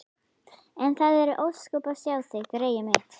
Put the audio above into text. En það eru ósköp að sjá þig, greyið mitt.